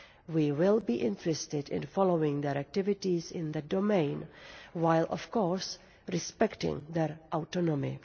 We will be interested in following their activities in that domain, while of course respecting their autonomy.